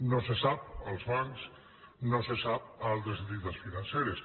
no se sap als bancs no se sap a altres entitats financeres